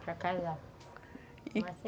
Para casar.